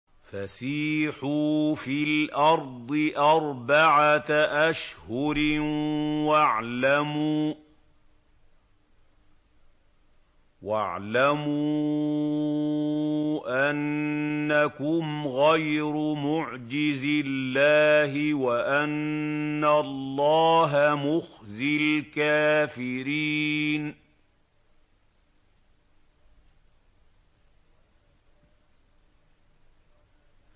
فَسِيحُوا فِي الْأَرْضِ أَرْبَعَةَ أَشْهُرٍ وَاعْلَمُوا أَنَّكُمْ غَيْرُ مُعْجِزِي اللَّهِ ۙ وَأَنَّ اللَّهَ مُخْزِي الْكَافِرِينَ